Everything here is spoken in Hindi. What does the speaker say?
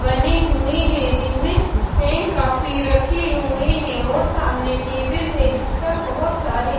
बने हुए हैं जिनमें पेन काफी रखे हुए हैं और सामने टेबल है जिस पर बहुत सारे--